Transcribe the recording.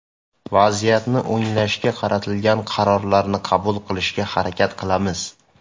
Vaziyatni o‘nglashga qaratilgan qarorlarni qabul qilishga harakat qilamiz.